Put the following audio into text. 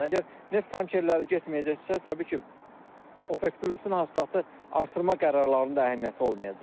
Əgər neft tankerləri getməyəcəksə, təbii ki, OPEC Plusun hasilatı artırma qərarlarının da əhəmiyyəti olmayacaq.